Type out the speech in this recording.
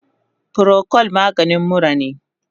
Procold maganin mura ne